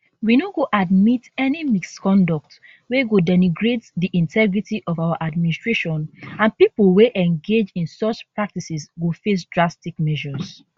we no go admit any misconduct wey go denigrates di integrity of our administration and pipo wey engage in such practices go face drastic measures